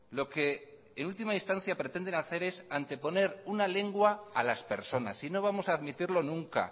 lo que en última instancia pretenden hacer es anteponer una lengua a las personas y no vamos a admitirlo nunca